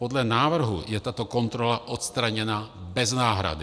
Podle návrhu je tato kontrola odstraněna bez náhrady.